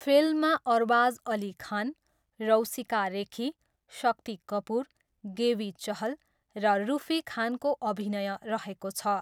फिल्ममा अरबाज अली खान, रौसिका रेखी, शक्ति कपुर, गेवी चहल र रुफी खानको अभिनय रहेको छ।